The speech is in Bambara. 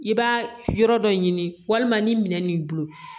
I b'a yɔrɔ dɔ ɲini walima ni minɛn min b'i bolo